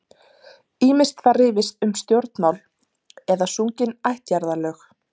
Ýmist var rifist um stjórnmál eða sungin ættjarðarlög.